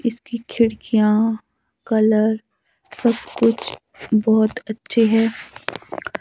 इसकी खिड़कियां कलर सब कुछ बहोत अच्छे है।